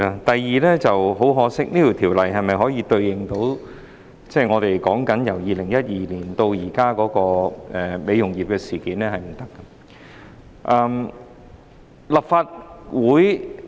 第二，很可惜，《條例草案》未能應對香港美容業自2012年至今事件頻生的情況。